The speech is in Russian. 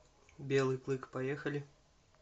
белый клык поехали